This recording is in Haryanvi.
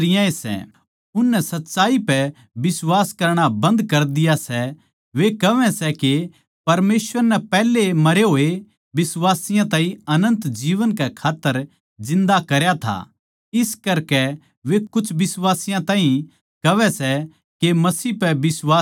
उननै सच्चाई पै बिश्वास करणा बंद कर दिया सै वे कहवै सै के परमेसवर नै पैहलै ए मरे होए बिश्वासियाँ ताहीं अनन्त जीवन कै खात्तर जिन्दा करया था इस करकै वे कुछ बिश्वासियाँ ताहीं कहवै सै के मसीह पै बिश्वास ना करो